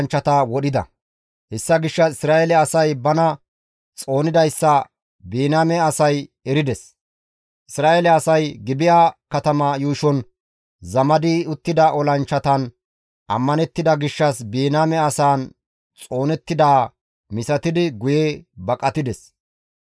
Hessa gishshas Isra7eele asay bana xoonidayssa Biniyaame asay erides. Isra7eele asay Gibi7a katama yuushon zamadi uttida olanchchatan ammanettida gishshas Biniyaame asaan xoonettidaa misatidi guye baqatides.